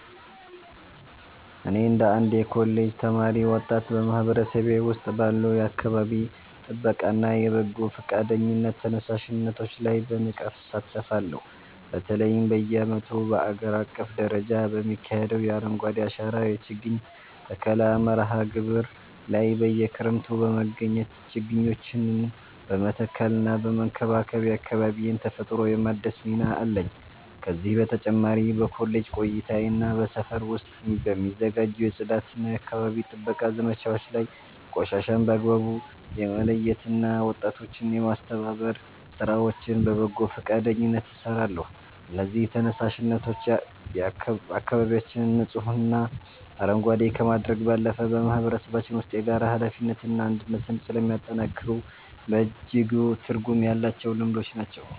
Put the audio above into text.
እኔ እንደ አንድ የኮሌጅ ተማሪና ወጣት፣ በማህበረሰቤ ውስጥ ባሉ የአካባቢ ጥበቃና የበጎ ፈቃደኝነት ተነሳሽነቶች ላይ በንቃት እሳተፋለሁ። በተለይም በየዓመቱ በአገር አቀፍ ደረጃ በሚካሄደው የ“አረንጓዴ አሻራ” የችግኝ ተከላ መርሃ ግብር ላይ በየክረምቱ በመገኘት ችግኞችን በመትከልና በመንከባከብ የአካባቢዬን ተፈጥሮ የማደስ ሚና አለኝ። ከዚህ በተጨማሪ በኮሌጅ ቆይታዬና በሰፈር ውስጥ በሚዘጋጁ የጽዳትና የአካባቢ ጥበቃ ዘመቻዎች ላይ ቆሻሻን በአግባቡ የመለየትና ወጣቶችን የማስተባበር ሥራዎችን በበጎ ፈቃደኝነት እሰራለሁ። እነዚህ ተነሳሽነቶች አካባቢያችንን ንጹህና አረንጓዴ ከማድረግ ባለፈ፣ በማህበረሰባችን ውስጥ የጋራ ኃላፊነትንና አንድነትን ስለሚያጠናክሩ በእጅጉ ትርጉም ያላቸው ልምዶች ናቸው።